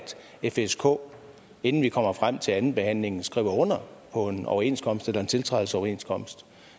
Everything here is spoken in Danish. fsk inden vi kommer frem til andenbehandlingen skriver under på en overenskomst eller en tiltrædelsesoverenskomst